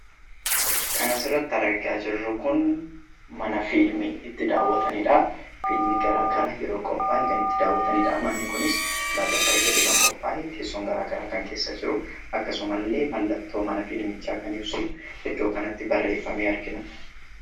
Kan asirratti argaa jirru kun mana fiilmii itti daawwatanidha. Fiilmii garaagaraa yeroo qophaa'e kan itti daawwatanidha. Manni kunis ulaagaa isaa eeggatee kan qophaa'e, teessoon garaagaraa kan keessa jiru akkasuma illee mallattoo mana fiilmichaa kan ibsu iddoo kanatti barreeffame argina.